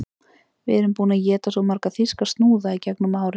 Við erum búin að éta svo marga þýska snúða í gegnum árin